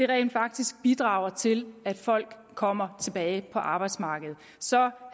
rent faktisk bidrager til at folk kommer tilbage på arbejdsmarkedet så